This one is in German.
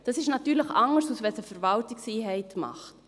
Das ist natürlich anders, als wenn es eine Verwaltungseinheit macht.